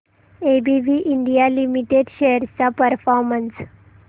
ABB India limited shares चा performance